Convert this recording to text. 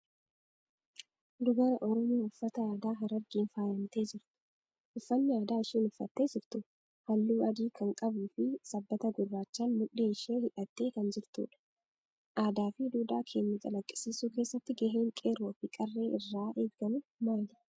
Dubara Oromoo uffata aadaa Harargeen faayamtee jirtu. Uffanni aadaa isheen uffattee jirtu halluu adii kan qabuu fi sabbata gurraachaan mudhii ishee hidhattee kan jirtudha. Aadaa fi duudhaa keenya calaqqisiisuu keessatti gaheen qeerroo fi qarree irraa eegamu maali?